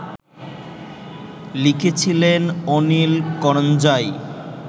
লিখেছিলেন অনিল করঞ্জাই